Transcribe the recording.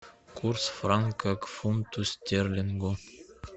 курс франка к фунту стерлингов